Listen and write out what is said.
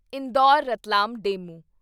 Indore Ratlam DEMU